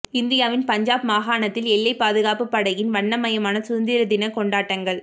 இந்தியாவின் பஞ்சாப் மாகாணத்தில் எல்லைப் பாதுகாப்புப் படையின் வண்ணமயமான சுதந்திர தினக் கொண்டாட்டங்கள்